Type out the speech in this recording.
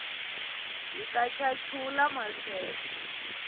hit chachula maseve